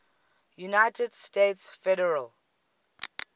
united states federal